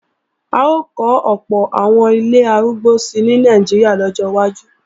À ó kọ́ ọ̀pọ̀ àwọn ilé arúgbó si ní Nàìjíríà lọ́jọ́ wájú